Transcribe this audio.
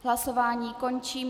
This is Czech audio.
Hlasování končím.